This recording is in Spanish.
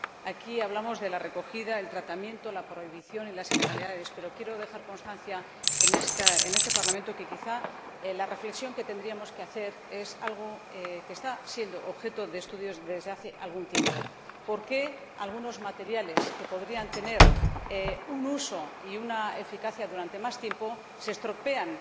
Aquí hablamos de la recogida, el tratamiento, la prohibición y las ilegalidades, pero quiero dejar constancia en este Parlamento de que, quizá, la reflexión que tendríamos que hacer es algo que está siendo objeto de estudios desde hace algún tiempo ¿por qué algunos materiales que podrían tener un uso y una eficacia durante más tiempo se estropean